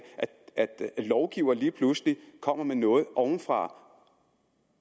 lovgivere lige pludselig kommer med noget ovenfra